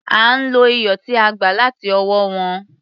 À ń lo iyọ̀ tí a gbà láti ọwọ́ wọn.